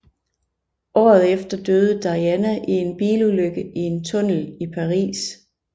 Året efter døde Diana i en bilulykke i en tunnel i Paris